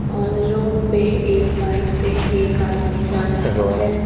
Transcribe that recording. और रोड पे एक बाइक पे एक आदमी जा रहा है।